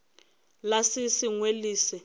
la se sengwe le se